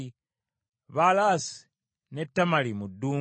Baalasi ne Tamali mu ddungu,